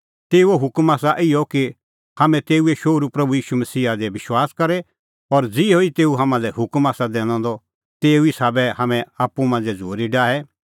तेऊओ हुकम आसा इहअ कि हाम्हैं तेऊए शोहरू प्रभू ईशू मसीहा दी विश्वास करे और ज़िहअ तेऊ हाम्हां लै हुकम आसा दैनअ द तेऊ ई साबै हाम्हैं आप्पू मांझ़ै झ़ूरी डाहे